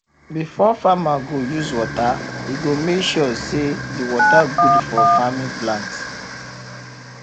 before farmer go use water e go make sure say de water good for farm plant